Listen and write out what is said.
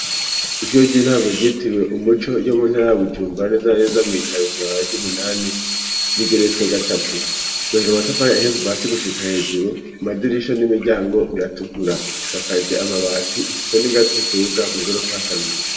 Ishure ry'intango ryitirwe umuco yo muntara ya Bujumbura neza na neza mwi jabe kwibarabara ry'umunani r'igerese gatatu cobaje amatafari kuva hasi gushika hejuru amadirisha n'imiryango biratukura isakaje amabati ifite n'ingazi zitubuka mwi gorofa ya kabiri.